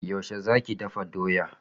Yaushe zaki dafa doya?